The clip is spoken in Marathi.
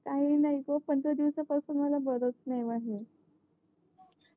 काही नाही ग पंधरा दिवसा पासून मला बरच नाही आहे